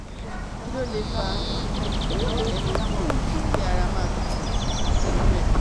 Kí ló lè fa fa ereke pipon, ki ara ma tutu àti rire?